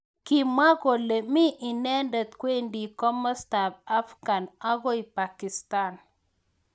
Kimwa kole mi inendet kwendi kimosta ab Afghan akoi Pakistan.